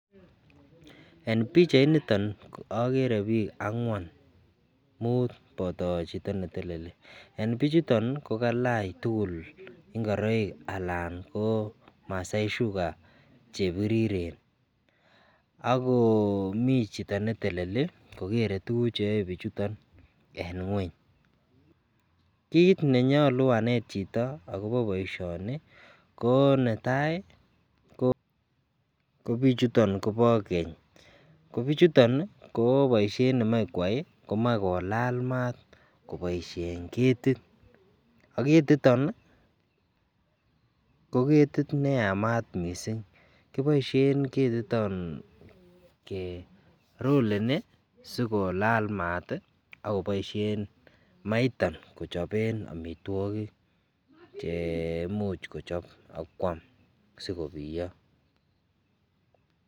En bichait niton akere bik angwan mut bato Chito neteleli en bichuto kokalach tugul ingoroik anan ko Masai sugar chebiriren ako mi Chito neteleli ako keree tuguk cheyoe bik chuton en ngweny kit nenyolu anet Chito akobo baishoni konetai kobik chuton Koba Keny kobichuton ko baishet nemakoyai komakolala mat kobaishen ketit ako ketiton koketit neyamat mising kibaishen ketiton keroleni sikolal mat akobaishen maiton kochaben amitwagik cheimuche kichop AK kwam sikobiyo